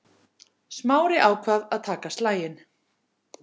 Smári ákvað að taka slaginn.